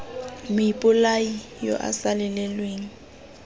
moipolai yo o sa lelelweng